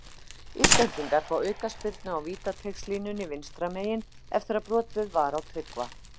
Íslendingar fá aukaspyrnu á vítateigslínunni vinstra megin eftir að brotið var á Tryggva.